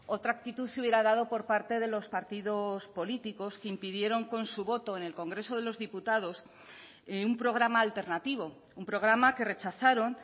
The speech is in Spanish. otra actitud se hubiera dado por parte de los partidos políticos que impidieron con su voto en el congreso de los diputados un programa alternativo un programa que rechazaron